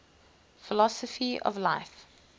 philosophy of life